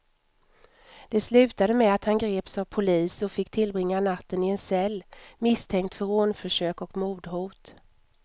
Det slutade med att han greps av polis och fick tillbringa natten i en cell, misstänkt för rånförsök och mordhot.